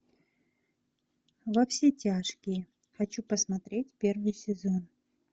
во все тяжкие хочу посмотреть первый сезон